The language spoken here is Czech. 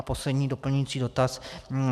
A poslední, doplňující dotaz.